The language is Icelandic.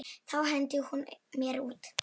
Þá henti hún mér út.